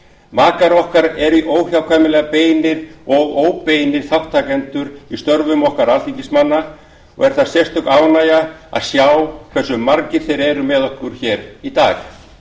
makar okkar eru óhjákvæmilega beinir og óbeinir þátttakendur í störfum okkar alþingismanna og er það sérstök ánægja að sjá hversu margir þeirra eru með okkur hér í dag